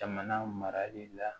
Jamana marali la